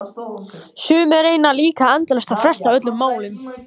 Sumir reyna líka endalaust að fresta öllum málum.